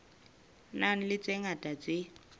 nang le tse ngata tse